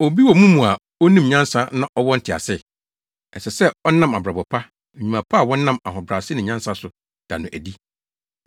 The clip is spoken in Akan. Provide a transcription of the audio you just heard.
Obi wɔ mo mu a onim nyansa na ɔwɔ ntease? Ɛsɛ sɛ ɔnam abrabɔ pa, nnwuma pa a wɔnam ahobrɛase ne nyansa so, da no adi.